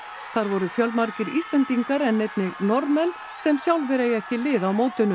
þar voru fjölmargir Íslendingar en einnig Norðmenn sem sjálfir eiga ekki lið á mótinu